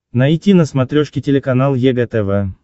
найти на смотрешке телеканал егэ тв